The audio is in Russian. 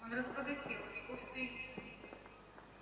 он разбогател у него всё есть